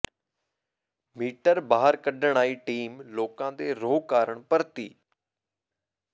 metre ਬਾਹਰ ਕੱਢਣ ਆਈ ਟੀਮ ਲੋਕਾਂ ਦੇ ਰੋਹ ਕਾਰਨ ਪਰਤੀ